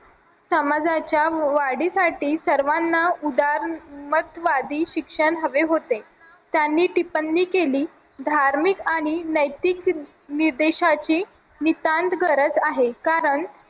समाजाच्या वाढीसाठी सर्वांना उदारमतवादी शिक्षण हवे होते त्यांनी टिपणी केली धार्मिक आणि नैतिक निर्देशाची नितांत गरज आहे कारण